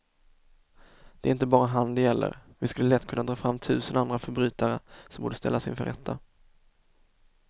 Det är inte bara han det gäller, vi skulle lätt kunna dra fram tusen andra förbrytare som borde ställas inför rätta.